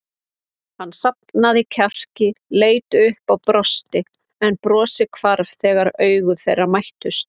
Hann safnaði kjarki, leit upp og brosti en brosið hvarf þegar augu þeirra mættust.